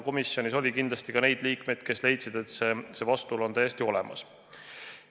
Komisjonis oli kindlasti ka neid liikmeid, kes leidsid, et see vastuolu on täiesti olemas.